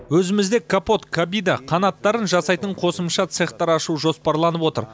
өзімізде капот кабида қанаттарын жасайтын қосымша цехтар ашу жоспарланып отыр